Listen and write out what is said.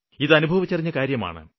ഇതനുഭവിച്ചറിഞ്ഞ കാര്യമാണ്